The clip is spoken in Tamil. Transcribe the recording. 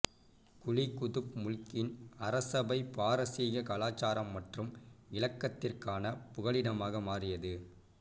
குலி குதுப் முல்கின் அரசசபை பாரசீக கலாச்சாரம் மற்றும் இலக்கியத்திற்கான புகலிடமாக மாறியது